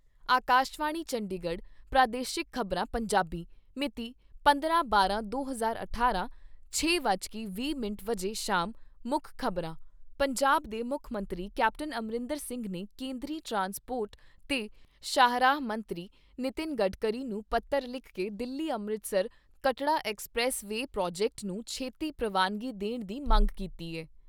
ਆਕਾਸ਼ਵਾਣੀ ਚੰਡੀਗੜ੍ਹ ਪ੍ਰਾਦੇਸ਼ਿਕ ਖ਼ਬਰਾਂ , ਪੰਜਾਬੀ ਪੰਜਾਬ ਦੇ ਮੁੱਖ ਮੰਤਰੀ ਕੈਪਟਨ ਅਮਰਿੰਦਰ ਸਿੰਘ ਨੇ ਕੇਂਦਰੀ ਟਰਾਂਸਪੋਰਟ ਤੇ ਸ਼ਾਹਰਾਹ ਮੰਤਰੀ ਨਿਤਿਨ ਗਡਕਰੀ ਨੂੰ ਪੱਤਰ ਲਿਖ ਕੇ Delhi Amritsar Katra expressway project ਨੂੰ ਛੇਤੀ ਪ੍ਰਵਾਨਗੀ ਦੇਣ ਦੀ ਮੰਗ ਕੀਤੀ ਏ।